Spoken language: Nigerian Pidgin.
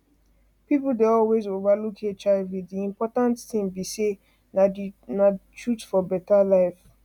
people dey always over look hiv d important thing be say na na the truth for better life